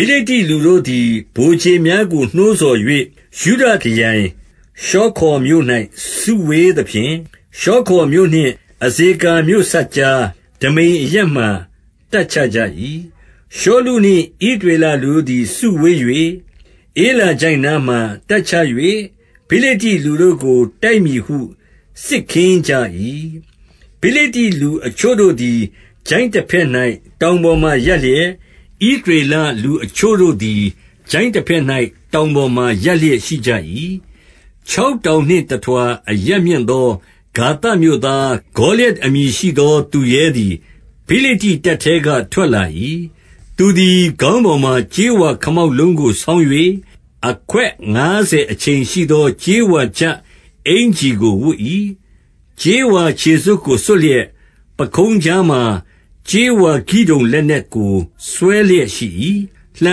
ိလိတ္တိ လူတို့သည် ဗိုလ်ခြေများကို နှိုးဆော်၍ ယုဒခရိုင် ရှောခေါမြို့၌ စုဝေးသဖြင့်၊ ရှောခေါမြို့နှင့် အဇေကာမြို့စပ်ကြား ဒမိမ်အရပ်မှာ တပ်ချကြ၏။ 2 ရှောလုနှင့်ဣသရေလ လူတို့သည် စုဝေး၍ ဧလာချိုင့်နားမှာ တပ်ချ၍ ဖိလိတ္တိလူတို့ကို တိုက်မည်ဟု စစ်ခင်းကျင်းကြ၏။ 3 ဖိလိတ္တိလူအချို့တို့သည် ချိုင့်တဘက်၌ တောင်ပေါ်မှာရပ်လျက်၊ ဣသရေလလူအချို့တို့သည် ချိုင့်တဘက်၌ တောင်ပေါ်မှာ ရပ်လျက်ရှိကြ၏။ 4 ခြောက်တောင်နှင့်တထွာ အရပ်မြင့်သော ဂါသမြို့သားဂေါလျတ် အမည်ရှိသော သူရဲသည် ဖိလိတ္တိ တပ်ထဲက ထွက်လာ၏။ 5 သူသည် ခေါင်းပေါ်မှာ ကြေးဝါခမောက်လုံးကို ဆောင်း၍ အခွက်ငါးဆယ် အချိန်ရှိသော ကြေးဝါ ချပ်အင်္ကျီကို ဝတ်၏။ 6 ကြေးဝါခြေစွပ်ကို စွပ်လျက် ပခုံးကြားမှာ ကြေးဝါကိဒုန် လက်နက်ကို ဆွဲလျက်ရှိ၏။ 7 လှံ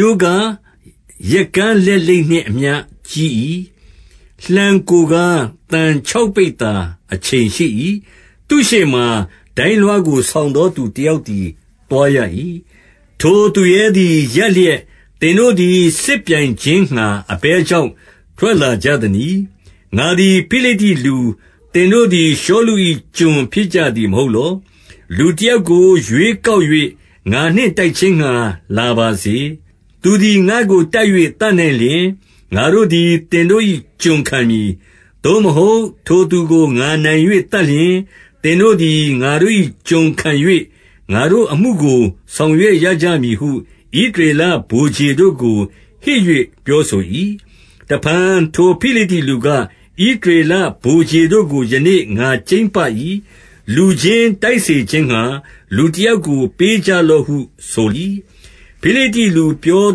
ရိုးကား ရက်ကန်းလက်လိပ်နှင့် အမျှကြီး၏။ လှံကိုယ်ကား သံခြောက်ပိဿာ အချိန်ရှိ၏။ သူ့ရှေ့ မှာ ဒိုင်းလွှားကို ဆောင်သောသူတယောက်သည် သွားရ၏။ 8 ထိုသူရဲသည် ရပ်လျက် သင်တို့သည် စစ်ပြိုင်ခြင်းငှါ အဘယ်ကြောင့် ထွက်လာကြသနည်း။ ငါသည် ဖိလိတ္တိလူ၊ သင်တို့သည် ရှောလု၏ ကျွန်ဖြစ်ကြသည် မဟုတ်လော။ လူတယောက်ကို ရွေးကောက် ၍ ငါနှင့်တိုက်ခြင်းငှါ လာပါစေ။ 9 သူသည် ငါ့ကို တိုက်၍ သတ်နိုင်လျှင် ငါတို့သည် သင်တို့၏ ကျွန်ခံမည်။ သို့မဟုတ် ထိုသူကို ငါနိုင် ၍ သတ်လျှင်၊ သင်တို့သည် ငါတို့၏ ကျွန်ခံ၍ ငါတို့အမှုကို ဆောင်ရွက်ရကြမည်ဟု ဣသရေလ ဗိုလ်ခြေတို့ကို ဟစ်၍ ပြောဆို၏။ 10 တဖန် ထိုဖိလိတ္တိလူက၊ ဣသရေလဗိုလ်ခြေတို့ကို ယနေ့ ငါကြိမ်းပ၏။ လူချင်းတိုက်စေခြင်းငှါ လူတယောက်ကို ပေးကြလော့ဟု ဆို၏။ 11 ဖိလိတ္တိလူပြော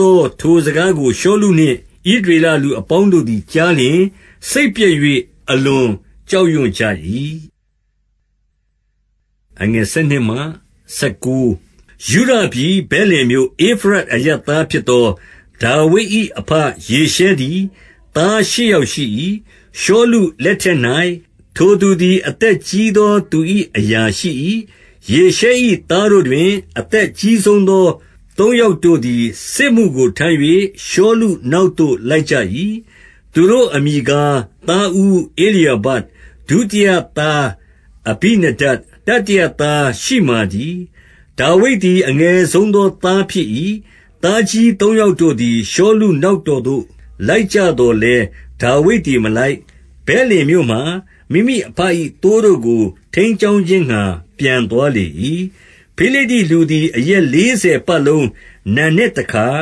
သော ထိုစကားကို ရှောလုနှင့် ဣသရေလလူအပေါင်းတို့သည် ကြားလျှင် စိတ်ပျက်၍ အလွန်ကြောက်ရွံ့ကြ၏။ 12 ယုဒပြည်၊ ဗက်လင်မြို့၊ ဧဖရတ်အရပ်သားဖြစ်သော ဒါဝိဒ်၏ အဘယေရှဲသည် သားရှစ်ယောက် ရှိ၏။ ရှောလုလက်ထက်၌ ထိုသူသည် အသက်ကြီးသော သူ၏ အရာရှိ၏။ 13 ယေရှဲ၏သားတို့တွင် အသက် အကြီးဆုံးသောသူ သုံးယောက်တို့သည် စစ်မှုကို ထမ်း၍ ရှောလုနောက် သို့ လိုက်ကြ၏။ သူတို့အမည်ကား သားဦးဧလျာဘ၊ ဒုတိယသားအဘိနဒပ်၊ တတိယသားရှိမာတည်း။ 14 ဒါဝိဒ်သည် အငယ်ဆုံးသော သားဖြစ်၏။ သားကြီးသုံးယောက်တို့သည် ရှောလုနောက်တော်သို့ လိုက်ကြသော်လည်း၊ - 15 ဒါဝိဒ်သည် မလိုက်၊ ဗက်လင်မြို့မှာ မိမိအဘ၏ သိုးတို့ကို ထိန်းကျောင်းခြင်းငှါ ပြန်သွားလေ၏။ 16 ဖိလိတ္တိလူသည် အရက်လေးဆယ်ပတ်လုံး၊ နံနက်တခါ၊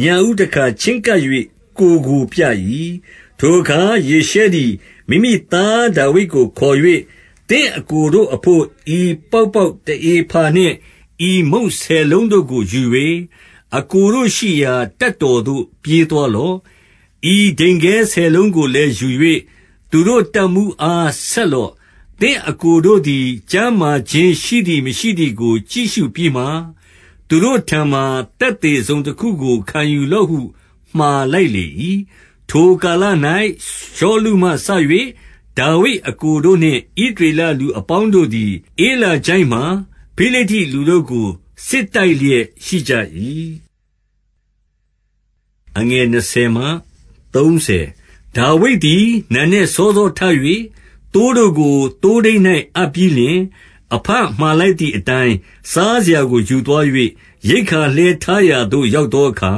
ညဦးတခါ ချဉ်းကပ်၍ ကိုယ်ကို ပြ၏။ 17 ထိုအခါ ယေရှဲသည် မိမိသား ဒါဝိဒ်ကို ခေါ်၍၊ သင့်အစ်ကိုတို့အဘို့ ဤပေါက်ပေါက် တဧဖာနှင့် ဤမုန့်ဆယ်လုံးတို့ကို ယူ၍ အစ်ကိုတို့ရှိရာ တပ်တော်သို့ ပြေးသွားလော့။ 18 ဤဒိန်ခဲဆယ်လုံးကိုလည်း ယူ၍ သူတို့တပ်မှူးအား ဆက်လော့။ သင့်အစ်ကိုတို့သည် ကျန်းမာခြင်း ရှိသည် မရှိသည်ကို ကြည့်ရှုပြီးမှ၊ သူတို့ထံမှာ သက်သေတစုံတခုကို ခံယူလော့ဟုမှာလိုက်လေ၏။ 19 ထိုကာလ၌ ရှောလုမှစ၍ ဒါဝိဒ်အစ်ကိုတို့နှင့် ဣသရေလလူအပေါင်းတို့သည် ဧလာချိုင့်မှာ ဖိလိတ္တိ လူတို့ကို စစ်တိုက်လျက် ရှိကြ၏။ 20 ဒါဝိဒ်သည် နံနက်စောစောထ၍ သိုးတို့ကို သိုးထိန်း၌ အပ်ပြီးလျှင်၊ အဘမှာလိုက်သည် အတိုင်း စားစရာကို ယူသွား၍၊ ရိက္ခာလှည်းထားရာသို့ ရောက်သောအခါ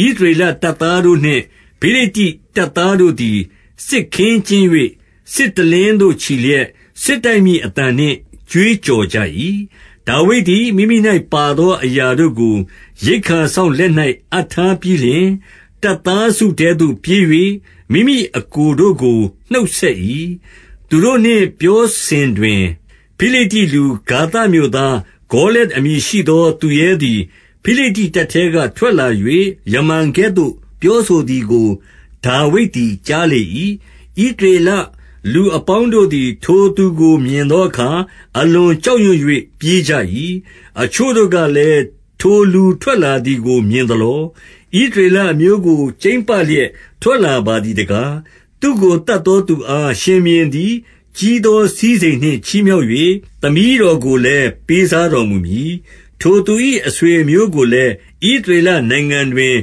၊ - 21 ဣသရေလ တပ်သားတို့နှင့် ဖိလိတ္တိတပ်သားတို့သည် စစ်ခင်းကျင်း၍ စစ်တလင်းသို့ ချီလျက်၊ စစ် တိုက်မည်အသံနှင့် ကြွေးကြော်ကြ၏။ 22 ဒါဝိဒ်သည် မိမိ၌ပါသောအရာတို့ကို ရိက္ခာစောင့်လက်၌ အပ်ထားပြီးလျှင်၊ တပ်သားစုထဲသို့ ပြေး၍ မိမိအစ်ကိုတို့ကို နှုတ်ဆက်၏။ 23 သူတို့နှင့် ပြောစဉ်တွင်၊ ဖိလိတ္တိလူ၊ ဂါသမြို့သား ဂေါလျတ်အမည်ရှိသော သူရဲသည် ဖိလိတ္တိတပ်ထဲ က ထွက်လာ၍ ယမန်ကဲ့သို့ ပြောဆိုသည်ကို ဒါဝိဒ်သည် ကြားလေ၏။ 24 ဣသရေလလူအပေါင်းတို့သည် ထိုသူကို မြင်သောအခါ အလွန်ကြောက်ရွံ့၍ ပြေးကြ၏။ 25 အချို့တို့ကလည်း၊ ထိုလူထွက်လာသည်ကို မြင်သလော။ ဣသရေလအမျိုးကို ကြိမ်းပလျက်ထွက်လာ ပါသည်တကား။ သူ့ကို သတ်သောသူအား ရှင်ဘုရင်သည် ကြီးသော စည်းစိမ်နှင့် ချီးမြှောက်၍ သမီးတော်ကိုလည်း ပေးစားတော်မူမည်။ ထိုသူ၏ အဆွေအမျိုးကိုလည်း ဣသရေလနိုင်ငံတွင်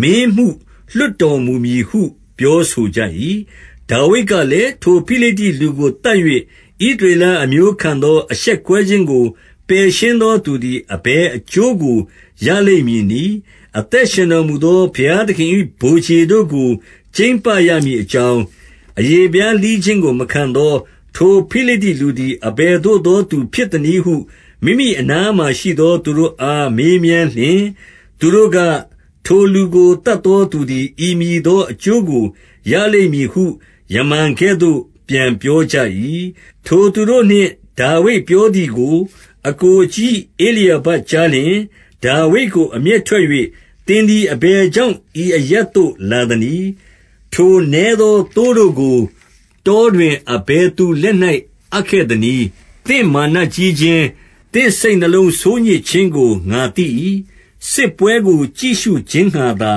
မင်းမှု လွှတ်တော်မူမည်ဟု ပြောဆိုကြ၏။ 26 ဒါဝိဒ်ကလည်း၊ ထိုဖိလိတ္တိလူကို သတ်၍ ဣသရေလအမျိုးခံသော အရှက်ကွဲခြင်းကို ပယ်ရှင်းသော သူသည် အဘယ်အကျိုးကို ရလိမ့်မည်နည်း။ အသက်ရှင်တော်မူသော ဘုရားသခင်၏ ဗိုလ်ခြေ တို့ကို ကြိမ်းပရမည်အကြောင်း၊ အရေဖျားလှီးခြင်းကို မခံသော ထိုဖိလိတ္တိလူသည် အဘယ်သို့သော သူဖြစ်သနည်းဟု မိမိအနားမှာရှိသော သူတို့အား မေးမြန်းလျှင်၊- 27 သူတို့က၊ ထိုလူကို သတ်သောသူသည် ဤမည်သော အကျိုးကို ရလိမ့်မည်ဟု ယမန်ကဲ့သို့ ပြန်ပြောကြ၏။ 28 ထိုသူတို့နှင့် ဒါဝိဒ်ပြောသည်ကို အစ်ကိုအကြီး ဧလျာဘကြားလျှင် ဒါဝိဒ်ကို အမျက်ထွက်၍၊ သင်သည် အဘယ်ကြောင့် ဤအရပ်သို့ လာသနည်း။ ထိုနည်းသော သိုးတို့ကို တောတွင် အဘယ်သူလက်၌ အပ်ခဲ့သနည်း။ သင့်မာနကြီးခြင်း၊ သင့်စိတ်နှလုံးဆိုးညစ်ခြင်းကို ငါသိ၏။ စစ်ပွဲကို ကြည့်ရှုခြင်းငှါ သာ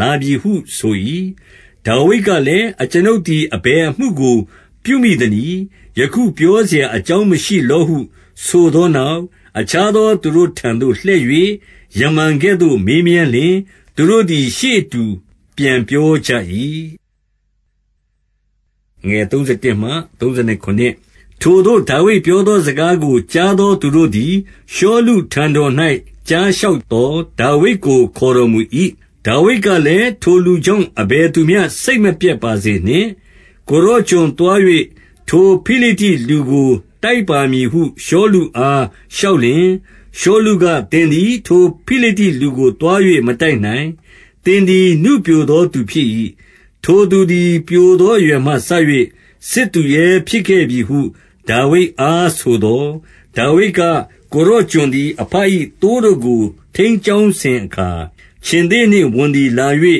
လာပြီဟု ဆို၏။ 29 ဒါဝိဒ်ကလည်း၊ အကျွန်ုပ်သည် အဘယ်အမှုကို ပြုမိသနည်း။ ယခုပြောစရာ အကြောင်းမရှိလောဟု ဆိုသောနောက်၊ 30 အခြားသောသူတို့ထံသို့ လှည့်၍ ယမန်ကဲ့သို့ မေးမြန်းလျှင်၊ သူတို့သည် ရှေ့အတူ ပြန်ပြောကြ၏။ 31 ထိုသို့ ဒါဝိဒ်ပြောသော စကားကို ကြားသော သူတို့သည် ရှောလုထံတော်၌ ကြားလျှောက်သော်၊ ဒါဝိဒ်ကို ခေါ်တော်မူ၏။ 32 ဒါဝိဒ်ကလည်း ထိုလူကြောင့် အဘယ်သူမျှ စိတ်မပျက်ပါစေနှင့်။ ကိုယ်တော်ကျွန်သွား၍ ထိုဖိလိတ္တိ လူကို တိုက်ပါမည်ဟု ရှောလုအား လျှောက်လျှင်၊- 33 ရှောလုက၊ သင်သည် ထိုဖိလိတ္တိလူကို သွား၍ မတိုက်နိုင်။ သင်သည် နုပျိုသောသူဖြစ်၏။ ထိုသူသည် ပျိုသောအရွယ်မှစ၍ စစ်သူရဲဖြစ်ခဲ့ပြီဟု ဒါဝိဒ်အား ဆိုသော်၊- 34 ဒါဝိဒ်က၊ ကိုယ်တော်ကျွန်သည် အဘ၏ သိုးတို့ကို ထိန်းကျောင်းစဉ်အခါ၊ ခြင်္သေ့နှင့်ဝံသည်လာ၍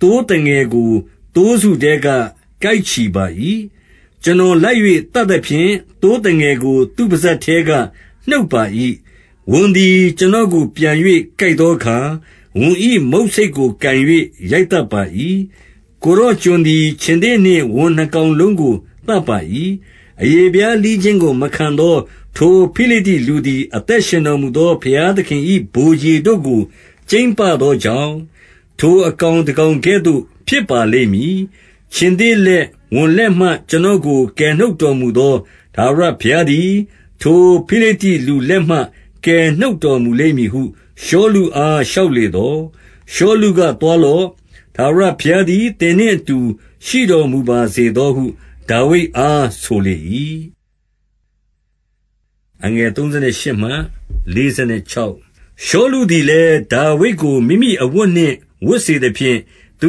သိုးသငယ်ကို သိုးစုထဲက ကိုက်ချီပါ၏။ 35 ကျွန်တော်လိုက်၍ သတ်သဖြင့် သိုးသငယ်ကို သူ့ပစပ်ထဲက နှုတ်ပါ၏။ ဝံသည် ကျွန်တော်ကို ပြန်၍ ကိုက်သောအခါ၊ ဝံ၏မုတ်ဆိတ်ကို ကိုင်၍ ရိုက်သတ်ပါ၏။ 36 ကိုယ်တော် ကျွန်သည် ခြင်္သေ့နှင့်ဝံနှစ်ကောင်လုံးကို သတ်ပါ၏။ အရေဖျားလှီးခြင်းကို မခံသော ထိုဖိလိတ္တိလူသည် အသက်ရှင်တော်မူသော ဘုရားသခင်၏ ဗိုလ်ခြေတို့ကို ကြိမ်းပသောကြောင့်၊ ထိုအကောင် တကောင်ကဲ့သို့ ဖြစ်ပါလိမ့်မည်။ 37 ခြင်္သေ့လက်၊ ဝံလက်မှ ကျွန်တော်ကို ကယ်နှုတ်တော်မူသော ထာဝရဘုရားသည်၊ ထိုဖိလိတ္တိလူလက်မှ ကယ်နှုတ်တော်မူလိမ့်မည်ဟု ရှောလုအား လျှောက်လေသော်၊ ရှောလုကသွားလော့။ ထာဝရဘုရား သည် သင်နှင့်အတူ ရှိတော်မူပါစေသောဟု ဒါဝိဒ်အား ဆိုလေ၏။ 38 ရှောလုသည်လည်း ဒါဝိဒ်ကို မိမိအဝတ်နှင့်ဝတ်စေသဖြင့်၊ သူ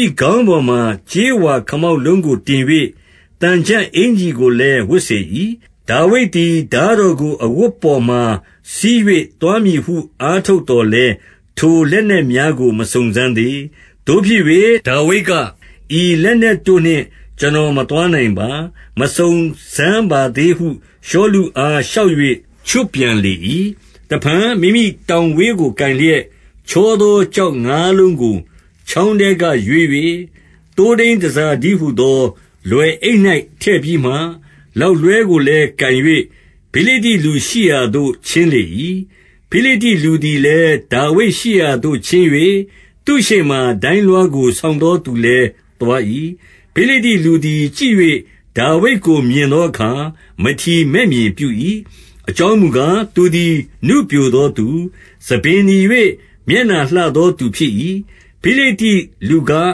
၏ခေါင်းပေါ်မှာ ကြေးဝါခလောက်လုံး ကိုတင်၍၊ သံချပ်အင်္ကျီကိုလည်း ဝတ်စေ၏။ 39 ဒါဝိဒ်သည် ထားတော်ကို အဝတ်ပေါ်မှာ စည်း၍ သွားမည်ဟု အားထုတ်သော်လည်း၊ ထိုလက်နက် များကို မစုံစမ်းသေး။ သို့ဖြစ်၍ ဒါဝိဒ်က ဤလက်နက်တို့နှင့် ကျွန်တော် မသွားနိုင်ပါ၊ မစုံစမ်းပါသေး ဟု ရှောလုအား လျှောက်၍ ချွတ်ပြန်လေ၏။ 40 တဖန် မိမိတောင်ဝေးကို ကိုင်လျက်၊ ချောသောကျောက်ငါးလုံးကို ချောင်းထဲက ရွေး၍၊ သိုးထိန်း တန်ဆာတည်းဟူသော လွယ်အိတ်၌ ထည့်ပြီးမှ၊ လောက်လွှဲကိုလည်းကိုင်၍ ဖိလိတ္တိလူရှိရာသို့ ချဉ်းလေ၏။ 41 ဖိလိတ္တိလူသည်လည်း ဒါဝိဒ်ရှိရာသို့ ချဉ်း၍ သူ့ရှေ့မှာ ဒိုင်းလွှားကို ဆောင်သောသူလည်း သွား၏။ 42 ဖိလိတ္တိလူသည် ကြည့်၍ ဒါဝိဒ်ကို မြင်သောအခါ မထီမဲ့မြင်ပြု၏။ အကြောင်းမူကား၊ သူသည် နုပျိုသောသူ၊ ဆံပင်နီ၍ မျက်နှာလှသောသူ ဖြစ်၏။ 43 ဖိလိတ္တိလူက၊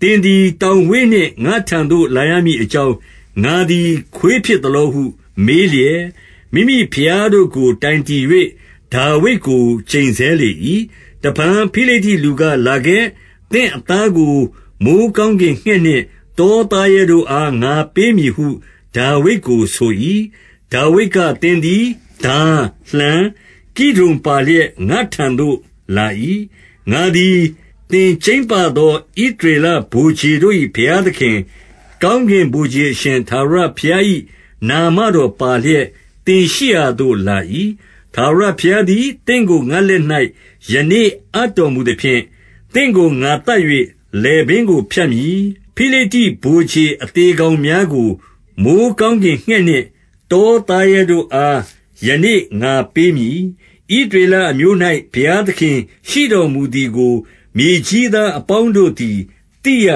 သင်သည် တောင်ဝေးနှင့် ငါ့ထံသို့ လာရမည်အကြောင်း၊ ငါသည် ခွေးဖြစ်သလောဟု မေးလျက်၊ မိမိဘုရားတို့ကို တိုင်တည်၍ ဒါဝိဒ်ကို ကျိန်ဆဲလေ၏။ 44 တဖန် ဖိလိတ္တိလူက လာခဲ့။ သင့်အသားကို မိုဃ်းကောင်းကင် ငှက်နှင့်တောသားရဲတို့အား ငါပေးမည်ဟု ဒါဝိဒ်ကိုဆို၏။ 45 ဒါဝိဒ်ကသင်သည် ထား၊ လှံ၊ ကိဒုန်ပါလျက် ငါ့ထံသို့ လာ၏။ ငါသည် သင် ကြိမ်းပသော ဣသရေလ ဗိုလ်ခြေတို့၏ ဘုရားသခင်၊ ကောင်းကင်ဗိုလ်ခြေ အရှင်ထာဝရဘုရား၏ နာမတော်ပါလျက် သင်ရှိ ရာသို့လာ၏။ 46 ထာဝရဘုရားသည် သင့်ကို ငါ့လက်၌ ယနေ့ အပ်တော်မူသဖြင့်၊ သင့်ကို ငါသတ်၍ လည်ပင်းကို ဖြတ်မည်။ ဖိလိတ္တိဗိုလ်ခြေ အသေကောင်များကို မိုဃ်းကောင်းကင်ငှက်နှင့် တောသားရဲတို့အား ယနေ့ ငါပေးမည်။ ဣသရေလအမျိုး၌ ဘုရားသခင် ရှိတော်မူသည်ကို မြေကြီးသားအပေါင်းတို့ သည်သိရ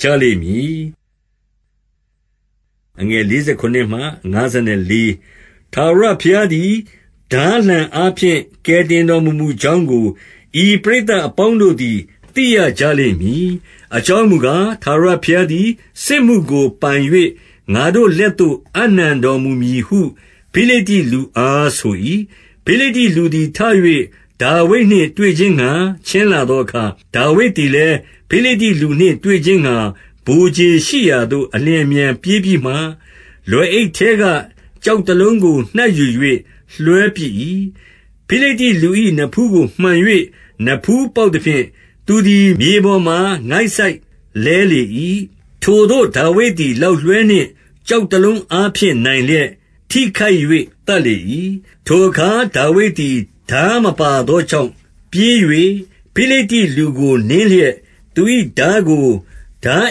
ကြလိမ့်မည်။ 47 ထာဝရဘုရားသည် ထားလှံအားဖြင့် ကယ်တင်တော်မမူကြောင်းကို၊ ဤပရိသတ်အပေါင်းတို့သည် သိရကြလိမ့်မည်။ အကြောင်းမူကား၊ ထာဝရဘုရားသည် စစ်မှုကို ပိုင်၍၊ ငါတို့လက်သို့ အပ်နှံတော် မူမည်ဟု ဖိလိတ္တိလူအား ဆို၏။ 48 ဖိလိတ္တိလူသည် ထ၍ ဒါဝိဒ်နှင့်တွေ့ခြင်းငှါ ချဉ်းလာသောအခါ၊ ဒါဝိဒ်သည်လည်း ဖိလိတ္တိလူနှင့် တွေ့ခြင်းငှါ ဗိုလ်ခြေရှိရာသို့ အလျင်အမြန် ပြေးပြီးမှ၊- 49 လွယ်အိတ်ထဲက ကျောက်တလုံးကို နှိုက်ယူ၍ လွှဲပစ်၏။ ဖိလိတ္တိလူ၏ နဖူးကို မှန်၍ နဖူးပေါက် သဖြင့် သူသည် မြေပေါ်မှာ ငိုက်စိုက်လဲလေ၏။ 50 ထိုသို့ ဒါဝိဒ်သည် လောက်လွှဲနှင့် ကျောက်တလုံးအားဖြင့် နိုင်လျက် ထိခိုက်၍ သတ်လေ၏။ 51 ထိုအခါ ဒါဝိဒ်သည် ထားမပါသောကြောင့် ပြေး၍ ဖိလိတ္တိလူကို နင်းလျက်၊ သူ၏ ထားကို ထား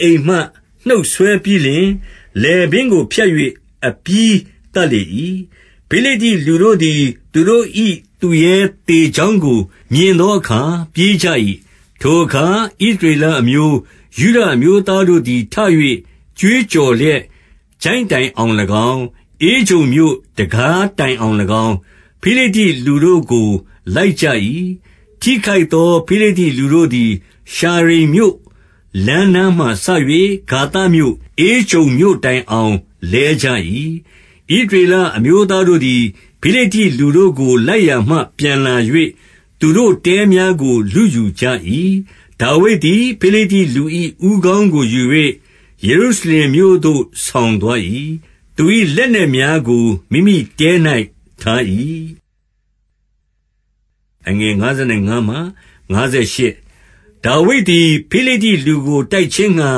အိမ်မှ နှုတ်ဆွဲပြီးလျှင် လည်ပင်းကို ဖြတ်၍ အပြီးသတ်လေ၏။ ဖိလိတ္တိလူတို့သည် သူတို့၏ သူရဲသေကြောင်းကို မြင်သောအခါ ပြေးကြ၏။ 52 ထိုအခါ ဣသရေလအမျိုး၊ ယုဒအမျိုးသားတို့သည် ထ၍ ကြွေးကြော်လျက် ချိုင့်တိုင်အောင်၎င်း၊ ဧကြုန်မြို့ တံခါးတိုင်အောင်၎င်း၊ ဖိလိတ္တိလူတို့ကို လိုက်ကြ၏။ ထိခိုက်သော ဖိလိတ္တိလူတို့သည် ရှာရိမ်မြို့ လမ်းနားမှစ၍ ဂါသမြို့၊ ဧကြုန်မြို့တိုင်အောင် လဲကြ၏။ 53 ဣသရေလ အမျိုးသားတို့သည် ဖိလိတ္တိလူတို့ကို လိုက်ရာမှ ပြန်လာ၍ သူတို့တဲများကို လုယူကြ၏။ 54 ဒါဝိဒ်သည် ဖိလိတ္တိလူ၏ ဦးခေါင်းကို ယူ၍ ယေရုရှလင်မြို့သို့ ဆောင်သွား၏။ သူ၏လက်နက်များ ကို မိမိတဲ၌ ထား၏။ 55 ဒါဝိဒ်သည် ဖိလိတ္တိလူကို တိုက်ခြင်းငှါ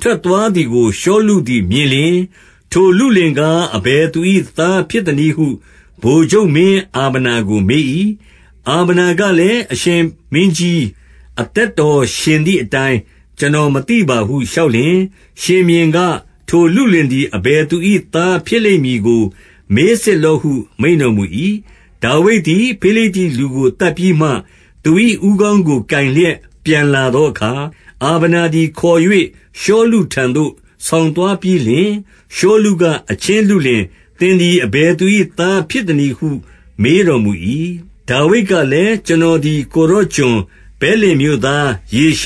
ထွက်သွားသည်ကို ရှောလုသည်မြင်လျှင်၊ ထိုလုလင်ကား အဘယ်သူ၏ သာဖြစ်သနည်းဟု ဗိုလ်ချုပ်မင်းအာဗနာကို မေး၏။ အာဗနာကလည်း၊ အရှင်မင်းကြီး အသက်တော် ရှင်သည်အတိုင်း ကျွန်တော် မသိပါဟု လျှောက်လျှင်၊- 56 ရှင်ဘုရင်က၊ ထိုလုလင်သည် အဘယ်သူ၏ သားဖြစ်လိမ့်မည်ကို မေးစစ်လော့ဟု မိန့်တော်မူ၏။ 57 ဒါဝိဒ်သည် ဖိလိတ္တိလူကို သတ်ပြီးမှ၊ သူ၏ ဦးခေါင်းကို ကိုင်လျက် ပြန်လာသောအခါ၊ အာဗနာသည် ခေါ်၍ ရှောလုထံသို့ ဆောင်သွားပြီးလျှင်၊- 58 ရှောလုက၊ အချင်း လုလင်၊ သင်သည် အဘယ်သူ၏ သားဖြစ်သနည်းဟု မေးတော်မူ၏။ ဒါဝိဒ်ကလည်း ကျွန်တော်သည် ကိုယ်တော်ကျွန်၊ ဗက်လင်မြို့သား ယေရှ